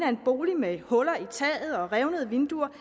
at en bolig med huller i taget og revnede vinduer